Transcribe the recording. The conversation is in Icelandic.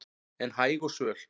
en hæg og svöl